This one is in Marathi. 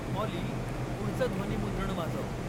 ऑली, पुढचं ध्वनिमुद्रण वाजव.